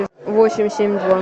восемь семь два